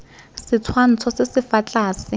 setshwantsho se se fa tlase